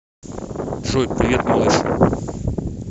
джой привет малыш